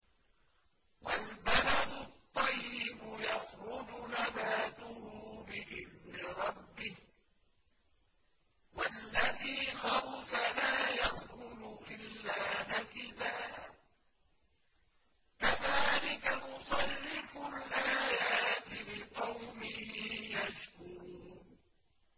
وَالْبَلَدُ الطَّيِّبُ يَخْرُجُ نَبَاتُهُ بِإِذْنِ رَبِّهِ ۖ وَالَّذِي خَبُثَ لَا يَخْرُجُ إِلَّا نَكِدًا ۚ كَذَٰلِكَ نُصَرِّفُ الْآيَاتِ لِقَوْمٍ يَشْكُرُونَ